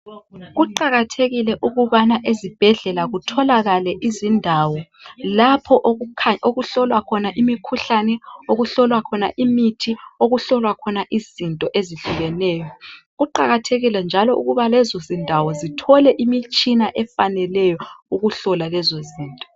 Kuqakathekile ukuthi ezibhedlela kutholakale izindawo lapha okuhlolwa khona imithi lapha okuhlolwa khona izinto ezitshiyeneyo kuqakathekile ukuhhi lezo ndawo zithole imitshina efaneleyo ukuhlola lezo zinto